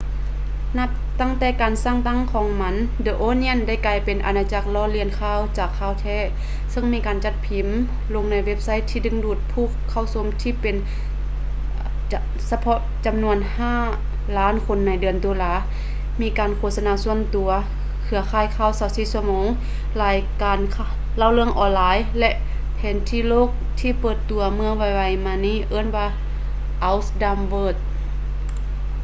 ນັບຕັ້ງແຕ່ການສ້າງຕັ້ງຂອງມັນ the onion ໄດ້ກາຍເປັນອານາຈັກລໍ້ລຽນຂ່າວຈາກຂ່າວແທ້ ເຊິ່ງມີການຈັດພິມ ລົງໃນເວັບໄຊທີ່ດຶງດູດຜູ້ເຂົ້າຊົມທີ່ເປັນສະເພາະຈຳນວນ 5,000,000 ຄົນໃນເດືອນຕຸລາ ມີການໂຄສະນາສ່ວນຕົວ ເຄືອຂ່າຍຂ່າວ 24 ຊົ່ວໂມງ ລາຍການເລົ່າເລື່ອງອອນລາຍ ແລະ ແຜນທີ່ໂລກທີ່ເປີດຕົວເມື່ອໄວໆມານີ້ເອີ້ນວ່າ our dumb world